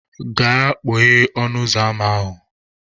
Gaa kpọghee ọnụ ụzọ ama ahụ!